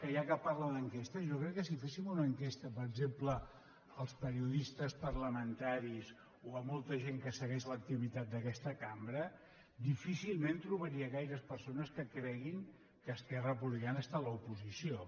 ja que parla d’enquestes jo crec que si féssim una enquesta per exemple als periodistes parlamentaris o a molta gent que segueix l’activitat d’aquesta cambra difícilment trobaria gaires persones que creguin que esquerra republicana està a l’oposició